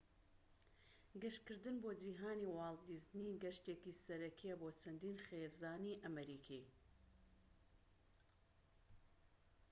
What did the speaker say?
گەشتکردن بۆ جیھانی واڵت دیزنی گەشتێکی سەرەکیە بۆ چەندین خێزانی ئەمریکی